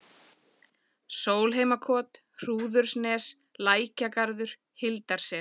Sólheimakot, Hrúðurnes, Lækjagarður, Hildarsel